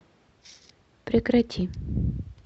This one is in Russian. прекрати